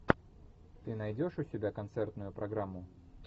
ты найдешь у себя концертную программу